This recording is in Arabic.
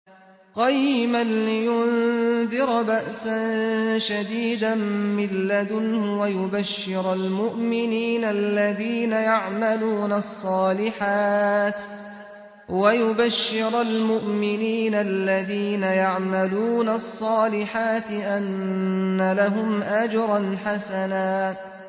قَيِّمًا لِّيُنذِرَ بَأْسًا شَدِيدًا مِّن لَّدُنْهُ وَيُبَشِّرَ الْمُؤْمِنِينَ الَّذِينَ يَعْمَلُونَ الصَّالِحَاتِ أَنَّ لَهُمْ أَجْرًا حَسَنًا